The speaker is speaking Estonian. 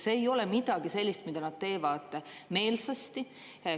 See ei ole midagi sellist, mida nad teevad meelsasti.